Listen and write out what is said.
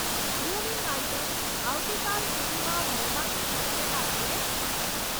Grooming items આવતીકાલ સુધીમાં મળવાની શક્યતા છે?